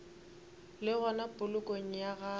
le gona polokong ya gagwe